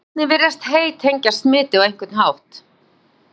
einnig virðist hey tengjast smiti á einhvern hátt